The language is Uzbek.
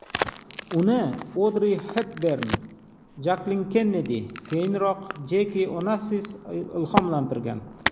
Uni Odri Xepbern, Jaklin Kennedi, keyinroq Jeki Onassis ilhomlantirgan.